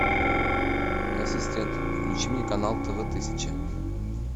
ассистент включи мне канал тв тысяча